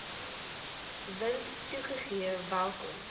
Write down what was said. wind toegegee welkom